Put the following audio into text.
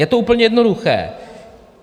Je to úplně jednoduché.